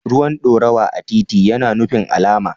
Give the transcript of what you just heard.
Ruwan dorawa a titi tana nufin alama.